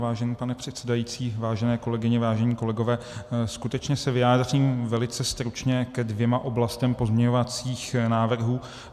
Vážený pane předsedající, vážené kolegyně, vážení kolegové, skutečně se vyjádřím velice stručně ke dvěma oblastem pozměňovacích návrhů.